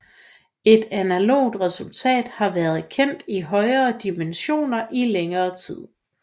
Et analogt resultat har været kendt i højere dimension i længere tid